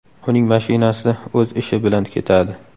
Uning mashinasida o‘z ishi bilan ketadi.